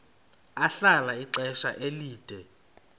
ahlala ixesha elide